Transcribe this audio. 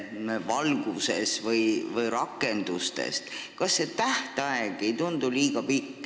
Alles 1. jaanuariks 2020 koostab ministeerium oma ülevaate.